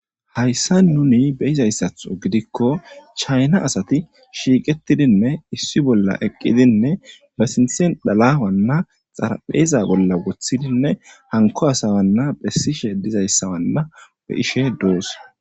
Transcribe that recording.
Haysan nuni beyizasatho gidiko daro chayna asati shiiqidinne issi bolla eqqidine be sinthen dhala xarapheza bolla woththidinne hanko asa bessishe de'zoysa be'ishe doos.